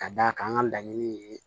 Ka d'a kan an ka laɲini ye